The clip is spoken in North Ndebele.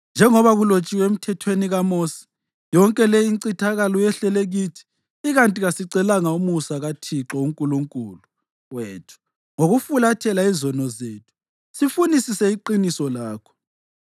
Njengoba kulotshiwe eMthethweni kaMosi yonke le incithakalo yehlele kithi, ikanti kasicelanga umusa kaThixo uNkulunkulu wethu ngokufulathela izono zethu sifunisise iqiniso lakho.